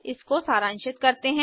इसको सारांशित करते हैं